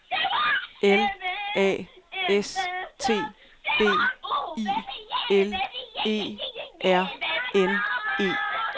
L A S T B I L E R N E